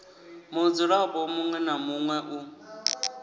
mudzulapo muṋwe na muṋwe u